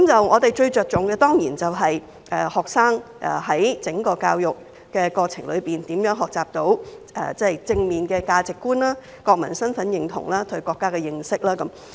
我們最着重的，當然是學生在整個教育過程中，如何學習到正面的價值觀、國民身份認同、對國家的認識。